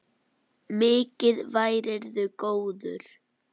Mikið værirðu góður.